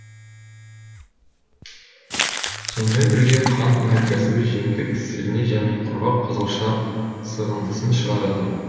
сонымен бірге қант өнеркәсібі жемдік сірне және құрғақ қызылша сығындысын шығарады